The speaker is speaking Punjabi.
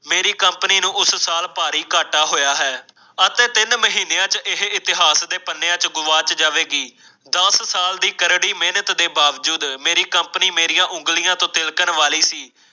ਮੇਰੀ ਕੰਪਨੀ ਨੂੰ ਉਸ ਸਾਲ ਭਾਰੀ ਘਾਟਾ ਹੋਇਆ ਹੈ ਅਤੇ ਤਿੰਨ ਮਹੀਨਿਆਂ ਚ ਇਹ ਇਤਿਹਾਸ ਦੇ ਪੰਨਿਆਂ ਚੋ ਗਵਾਚ ਜਾਵੇਗੀ। ਦਸ ਸਾਲ ਦੀ ਕਰੜੀ ਮਿਹਨਤ ਦੇ ਬਾਵਜੂਦ ਮੇਰੀ ਕੰਪਨੀ ਮੇਰੀ ਉਂਗਲੀਆਂ ਤੋਂ ਤਿਲਕਣ ਵਾਲੀ ਸੀ।